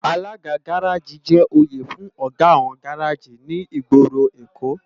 Àlágá gàráji jè óyé fún ógá áwòn gàráji ni igbóró Ékó